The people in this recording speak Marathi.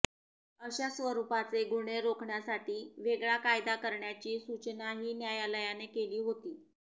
अशा स्वरुपाचे गुन्हे रोखण्यासाठी वेगळा कायदा करण्याची सूचनाही न्यायालयाने केली होती